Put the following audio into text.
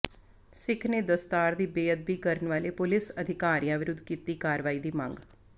ਸਿੱਖ ਨੇ ਦਸਤਾਰ ਦੀ ਬੇਅਦਬੀ ਕਰਨ ਵਾਲੇ ਪੁਲਿਸ ਅਧਿਕਾਰੀਆਂ ਵਿਰੁੱਧ ਕੀਤੀ ਕਾਰਵਾਈ ਦੀ ਮੰਗ